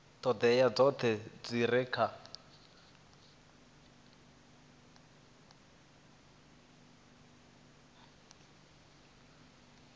ṱhoḓea dzoṱhe dzi re kha